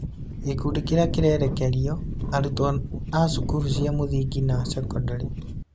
Gĩkundi kĩrĩa kĩrerekeirio: Arutwo a cukuru cia mũthingi na sekondarĩ.